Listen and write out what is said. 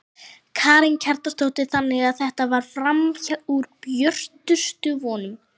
Karen Kjartansdóttir: Þannig að þetta fer fram úr björtustu vonum?